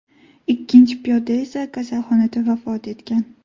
Ikkinchi piyoda esa kasalxonada vafot etgan.